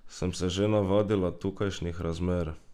Sem se že navadila tukajšnjih razmer?